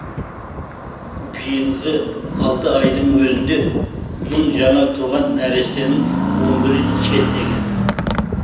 биылғы алты айдың өзінде мың жаңа туған нәрестенің он бірі шетінеген